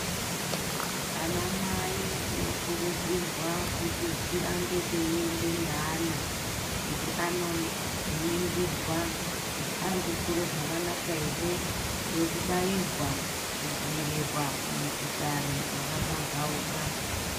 Anamai tinokurudzirwa kuti tirambe teiende neana kuti anoningirwa kuti arikukure zvakanaka here ngekubairwa kudziirirwa kumikuhlani yakapambauka.